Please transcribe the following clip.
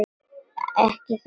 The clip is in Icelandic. Ekki það.?